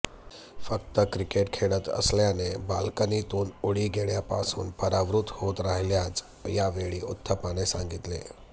फक्त क्रिकेट खेळत असल्याने बाल्कनीतून उडी घेण्यापासून परावृत्त होत राहील्याचं यावेळी उथप्पाने सांगीतले